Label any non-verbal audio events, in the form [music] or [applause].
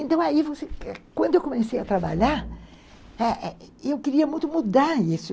Então, aí, quando eu comecei a trabalhar, eu [unintelligible] queria muito mudar isso.